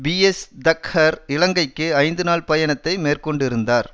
PS Thakhar இலங்கைக்கு ஐந்து நாள் பயணத்தை மேற்கொண்டிருந்தார்